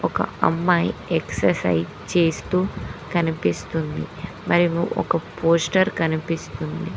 ఒక అమ్మాయి ఎక్సర్సైజ్ చేస్తూ కనిపిస్తుంది మరియు ఒక పోస్టర్ కనిపిస్తుంది.